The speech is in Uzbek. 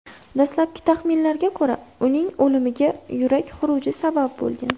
Dastlabki taxminlarga ko‘ra, uning o‘limiga yurak xuruji sabab bo‘lgan.